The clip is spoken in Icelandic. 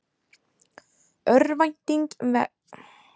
Örvænting vex vegna námamanna